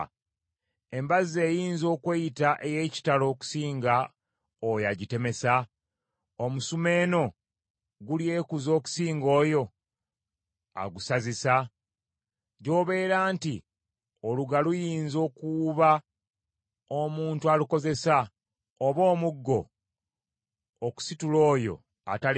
Embazzi eyinza okweyita ey’ekitalo okusinga oyo agitemesa? Omusumeeno gulyekuza okusinga oyo agusazisa? Gy’obeera nti oluga luyinza okuwuuba omuntu alukozesa, oba omuggo okusitula oyo atali muti.